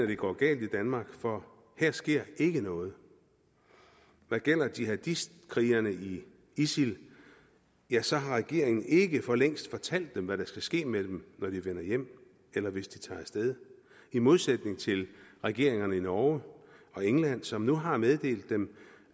det går galt i danmark for her sker ikke noget hvad gælder jihadistkrigerne i isil ja så har regeringen ikke for længst fortalt dem hvad der skal ske med dem når de vender hjem eller hvis de tager af sted i modsætning til regeringerne i norge og england som nu har meddelt dem